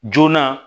Joona